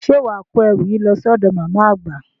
Ṣé wà á kó ẹrù yìí lọ sí ọ̀dọ̀ màmá àgbà?